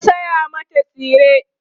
na saya mata tsire